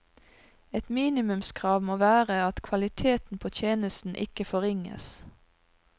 Et minimumskrav må være at kvaliteten på tjenesten ikke forringes.